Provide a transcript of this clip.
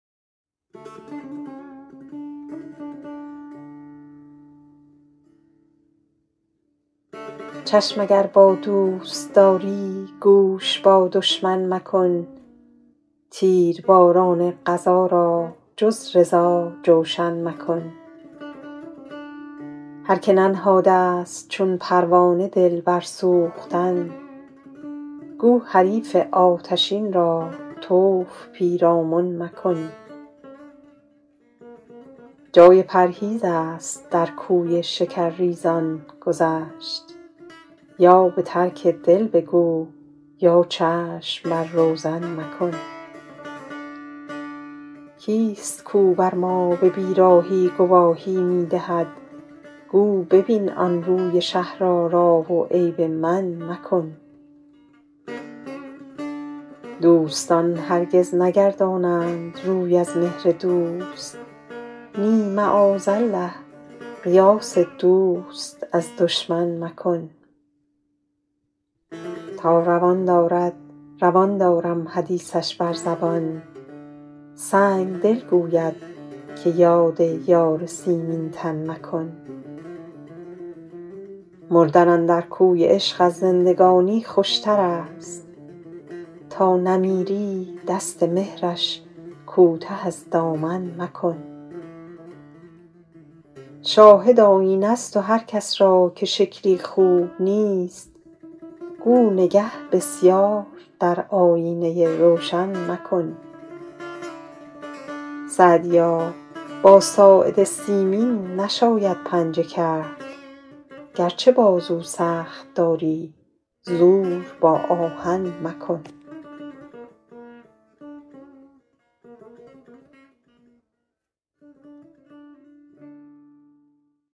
چشم اگر با دوست داری گوش با دشمن مکن تیرباران قضا را جز رضا جوشن مکن هر که ننهاده ست چون پروانه دل بر سوختن گو حریف آتشین را طوف پیرامن مکن جای پرهیز است در کوی شکرریزان گذشت یا به ترک دل بگو یا چشم وا روزن مکن کیست کاو بر ما به بیراهی گواهی می دهد گو ببین آن روی شهرآرا و عیب من مکن دوستان هرگز نگردانند روی از مهر دوست نی معاذالله قیاس دوست از دشمن مکن تا روان دارد روان دارم حدیثش بر زبان سنگدل گوید که یاد یار سیمین تن مکن مردن اندر کوی عشق از زندگانی خوشتر است تا نمیری دست مهرش کوته از دامن مکن شاهد آیینه ست و هر کس را که شکلی خوب نیست گو نگه بسیار در آیینه روشن مکن سعدیا با ساعد سیمین نشاید پنجه کرد گرچه بازو سخت داری زور با آهن مکن